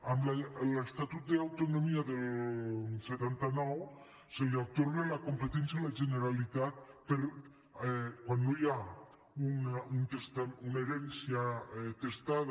amb l’estatut d’autonomia del setanta nou se li atorga la competència a la generalitat per a quan no hi ha una herència testada